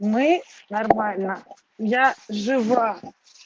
мы нормально я жива